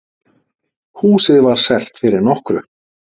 Húsið var selt fyrir nokkru.